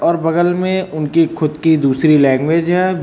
और बगल में उनकी खुद की दूसरी लैंग्वेज है।